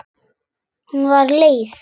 Hún var leið.